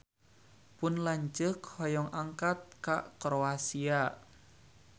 Pun lanceuk hoyong angkat ka Kroasia